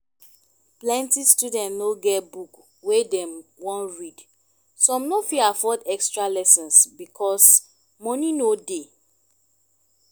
plenty student no get book wey dem wan read some no fit afford extra lessons because money no dey